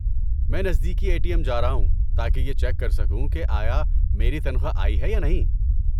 میں نزدیکی A T M جا رہا ہوں تاکہ یہ چیک کر سکوں کہ آیا میری نتخواہ آئی ہے یا نہیں؟